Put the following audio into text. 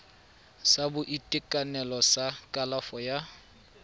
sa boitekanelo sa kalafo ya